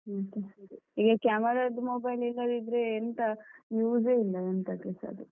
ಈಗ camera ದ್ದು mobile ಇಲ್ಲದಿದ್ರೆ ಎಂತ use ಎ ಇಲ್ಲ ಎಂತಕ್ಕೆಸ ಅದು.